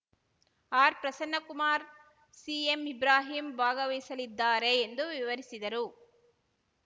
R Prasannakumar C ಎಂಇಬ್ರಾಹಿಂ ಭಾಗವಹಿಸಲಿದ್ದಾರೆ ಎಂದು ವಿವರಿಸಿದರು